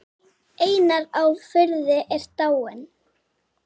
Einar á Firði er dáinn.